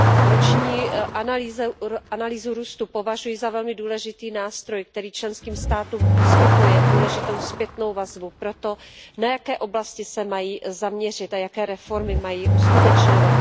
Roční analýzu růstu považuji za velmi důležitý nástroj, který členským státům poskytuje důležitou zpětnou vazbu pro to, na jaké oblasti se mají zaměřit a jaké reformy mají uskutečňovat.